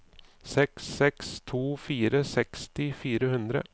seks seks to fire seksti fire hundre